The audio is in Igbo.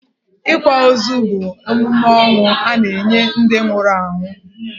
Ịkwa ozu bu emume ọnwụ a na-enye ndi nwụrụ anwụ.